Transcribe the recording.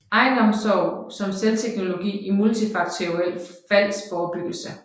Egenomsorg som selvteknologi i multifaktoriel faldforebyggelse